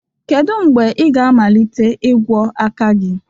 kedu mgbe ị ga-amalite ịgwọ aka gị